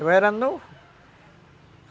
Eu era novo.